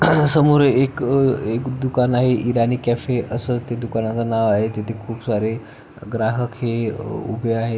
समोर एक अ एक दुकान आहे इराणी कॅफे अस ते दुकानाच नाव आहे तिथे खुप सारे ग्राहक हे उभे आहे.